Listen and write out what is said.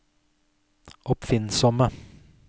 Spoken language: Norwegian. oppfinnsomme